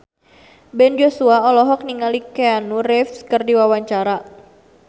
Ben Joshua olohok ningali Keanu Reeves keur diwawancara